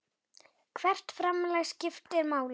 Hvert framlag skiptir máli.